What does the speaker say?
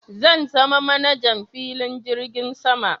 Zan zama manajan filin jirgin sama